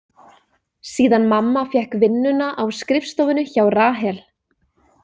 Síðan mamma fékk vinnuna á skrifstofunni hjá Rahel.